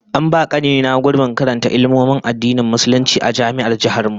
An ba kani na gurbin karanta Ilmomin Addinin Musulunci a Jami'ar Jihar mu